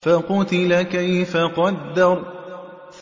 فَقُتِلَ كَيْفَ قَدَّرَ